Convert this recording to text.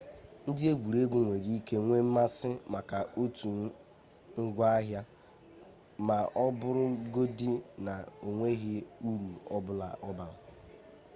ndị egwuregwu nwere ike nwee mmasị maka otu ngwaahịa ma ọ bụrụgodi na onweghi uru ọbụla ọ bara